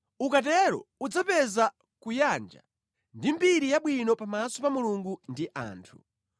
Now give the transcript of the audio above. Ukatero udzapeza kuyanja ndi mbiri yabwino pamaso pa Mulungu ndi anthu.